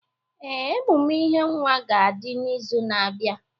Ee, emume ihe nwa ga adi n'izu na-abịa.